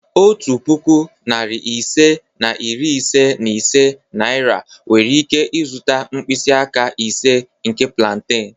Otu puku, narị ise na iri ise na ise naira nwere ike zụta mkpịsị aka ise nke plantain.